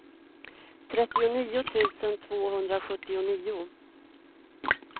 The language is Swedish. trettionio tusen tvåhundrasjuttionio